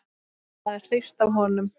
Maður hrífst af honum.